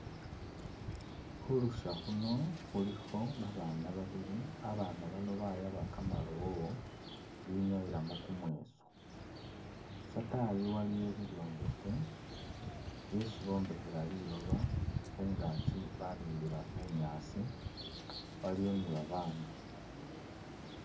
Khu lusya khuno khulikho babaana babili, abaana bano bayaba kamalowo binyayilamu kumweeso, syataayi waliyo bibyombekhe byeesi bombekhela liloba khungaki babimbila bunyaasi, waliyo ni babaandu.